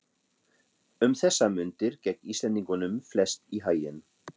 Um þessar mundir gekk Íslendingunum flest í haginn.